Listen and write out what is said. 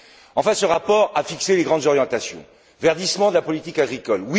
Enfin, ce rapport a fixé les grandes orientations verdissement de la politique agricole.